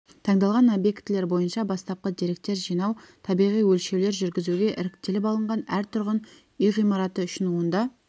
таңдалған объектілер бойынша бастапқы деректер жинау табиғи өлшеулер жүргізуге іріктеліп алынған әр тұрғын үй ғимараты үшін онда